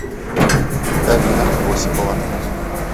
карина осипова